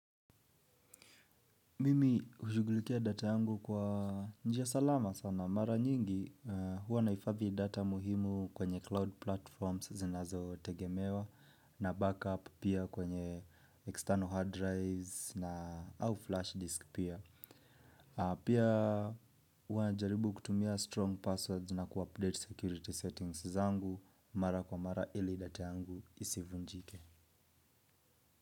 Mimi ushugulikia data yangu kwa njia salama sana. Mara nyingi huwa naifadhiidata muhimu kwenye cloud platforms zinazo tegemewa na backup pia kwenye external hard drives na au flash disk pia. Pia huwa najaribu kutumia strong passwords na kuupdate security settings zangu mara kwa mara ili data yangu isivunjike.